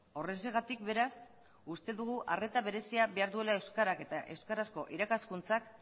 horrexegatik beraz uste dugu arreta berezia behar duela euskarak eta euskarazko irakaskuntzak